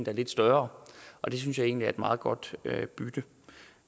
er lidt større og det synes jeg egentlig er et meget godt bytte